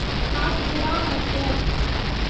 Kathgodam express